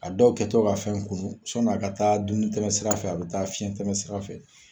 A dɔw kɛ to ka fɛn kunun, sɔni a ka taa dunun tɛmɛn sira fɛ, a bɛ taa fiɲɛ tɛmɛ sira fɛ!